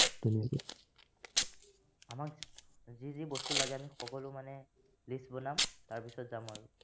আমাক যি যি বস্তু লাগে, আমি সকলো মানে list বনাম, তাৰপিছত যাম আৰু